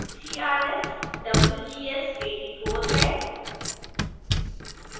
crs wgs 84 है